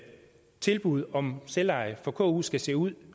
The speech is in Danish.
tilbud om selveje for ku skal se ud